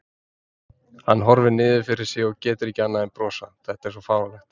Hann horfir niður fyrir sig og getur ekki annað en brosað, þetta er svo fáránlegt.